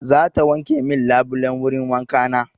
Za ta wanke min labulan wurin wanka na.